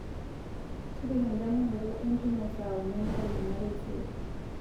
tipika endamunoto e ntumo saa uni entedekenya taisere